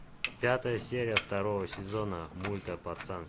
пятая серия второго сезона мульта пацан